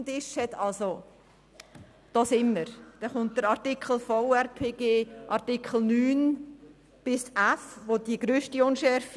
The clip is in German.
In Artikel 9 Buchstabe a bis f des Gesetzes über die Verwaltungsrechtspflege (VRPG) besteht die grösste Unschärfe.